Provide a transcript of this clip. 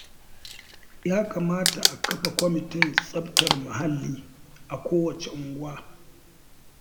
Ya kamata a kafa kwamitin tsaftar muhalli a kowacce unguwa